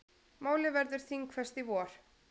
Málið verður þingfest í vor.